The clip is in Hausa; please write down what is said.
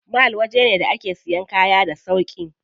Mall waje ne da ake siyan kaya a cikin sauƙi.